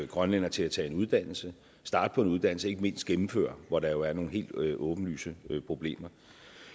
grønlændere til at tage en uddannelse starte på en uddannelse og ikke mindst gennemføre hvor der jo er nogle helt åbenlyse problemer